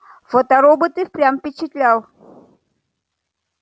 фоторобот и впрямь впечатлял